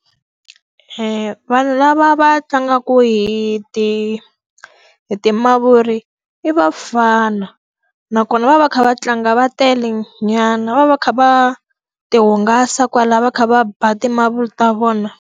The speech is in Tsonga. vanhu lava va tlangaka hi ti hi ti mavuri i vafana, nakona va va va kha va tlanga va telenyana. Va va va kha va ti hungasa kwalaho va kha va ba ti mavuri ta vona.